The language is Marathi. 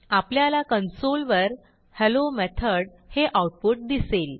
आपल्याला कन्सोल वर हेल्लो मेथॉड हे आऊटपुट दिसेल